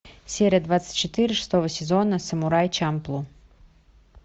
серия двадцать четыре шестого сезона самурай чамплу